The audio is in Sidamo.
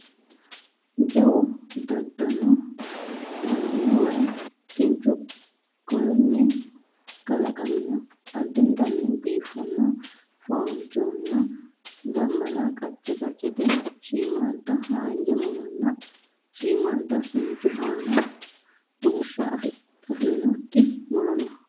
Jawu daadanno way kinchu korinni kalaqamino addintanni biifanno foonchonna dambala qacce qaccete shiimmaadda haanja muronna shiimmaadda kinchu Anna rumushsho afidhinokki muro no